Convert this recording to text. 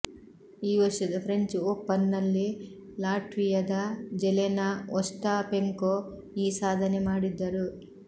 ಈ ವರ್ಷದ ಫ್ರೆಂಚ್ ಓಪನ್ನಲ್ಲಿ ಲಾಟ್ವಿಯದ ಜೆಲೆನಾ ಒಸ್ಟಾಪೆಂಕೊ ಈ ಸಾಧನೆ ಮಾಡಿದ್ದರು